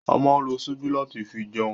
A ma ń lo ṣíbí láti fi jẹun